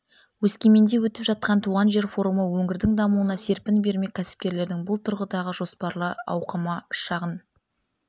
өскеменде өтіп жатқан туған жер форумы өңірдің дамуына серпін бермек кәсіпкерлердің бұл тұрғыдағы жоспары ауқымды шағын